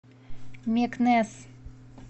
мекнес